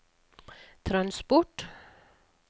transport